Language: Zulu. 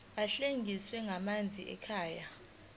ahlinzekwa ngamanzi ekhaya